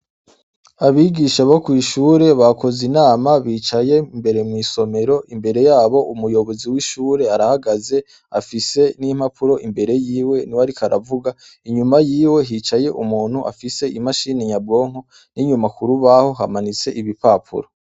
Abigisha bo kw'ishure bakoze inama bicaye imbere mw'isomero imbere yabo umuyobozi w'ishure arahagaze afise n'impapuro imbere yiwe, ni we ariko aravuga inyuma yiwe hicaye umuntu afise imashini nyabwonko n'inyumakurubaho hamanitse ibipapuro.